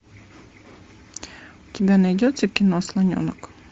у тебя найдется кино слоненок